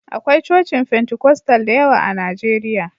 Akwai cocin Fentekostal da yawa a Najeriya.